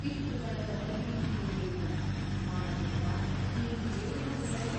ಪಿತೃಗಣದ ಪ್ರತಿನಿಧಿಯು ಹೇಳಿದನು ಮಾನವೇಂದ್ರ ನೀನು ಹೇಳುವುದು ಸರಿ.